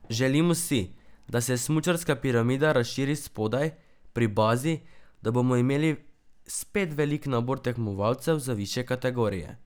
Želimo si, da se smučarska piramida razširi spodaj, pri bazi, da bomo imeli spet velik nabor tekmovalcev za višje kategorije.